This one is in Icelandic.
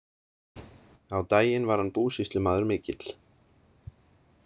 Á daginn var hann búsýslumaður mikill.